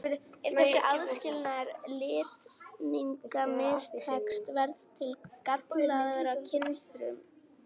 Ef þessi aðskilnaður litninga mistekst verða til gallaðar kynfrumur.